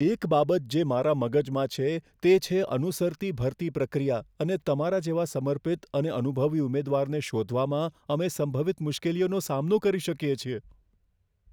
એક બાબત જે મારા મગજમાં છે તે છે અનુસરતી ભરતી પ્રક્રિયા અને તમારા જેવા સમર્પિત અને અનુભવી ઉમેદવારને શોધવામાં અમે સંભવિત મુશ્કેલીઓનો સામનો કરી શકીએ છીએ.